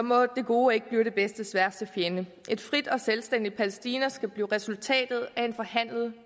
må det gode ikke blive det bedstes værste fjende et frit og selvstændigt palæstina skal blive resultatet af en forhandlet